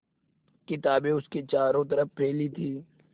किताबें उसके चारों तरफ़ फैली थीं